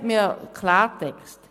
Sprechen wir Klartext: